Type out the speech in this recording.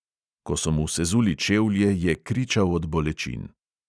Ko so mu sezuli čevlje, je kričal od bolečin.